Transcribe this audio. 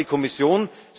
Danke an die Kommission.